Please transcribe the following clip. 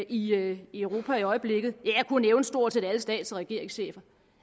i europa i europa i øjeblikket jeg kunne nævne stort set alle stats og regeringschefer